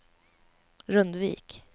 Rundvik